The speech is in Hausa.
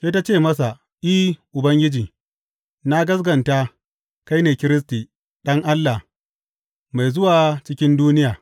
Sai ta ce masa, I, Ubangiji, na gaskata kai ne Kiristi, Ɗan Allah, mai zuwa cikin duniya.